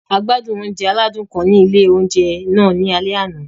A gbádùn oúnjẹ aládùn kan ni ilé oúnjẹ náà ní alẹ́ àná.